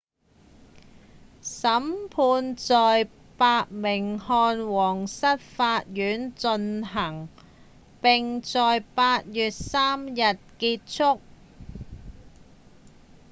審判在伯明翰皇室法院進行並在8月3日結束